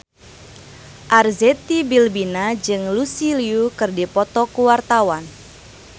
Arzetti Bilbina jeung Lucy Liu keur dipoto ku wartawan